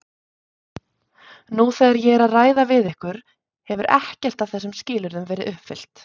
Nú þegar ég er að ræða við ykkur hefur ekkert af þessum skilyrðum verið uppfyllt.